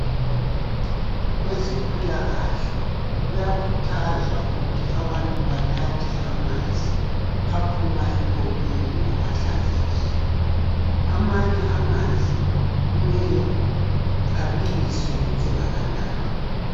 Kwezempilakahle kuyakhuthazwa ukuthi abantu banathe amanzi aphuma empompini ngoba hlanzekileyo, amanye amanzi kumele abiliswe engakanathwa.